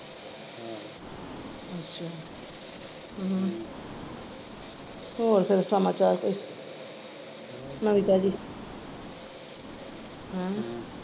ਹੋਰ ਫਿਰ ਸਮਾਚਾਰ ਕੋਈ ਨਵੀ ਤਾਜੀ ਹੈਂ।